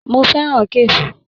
Mó fẹràn kafe.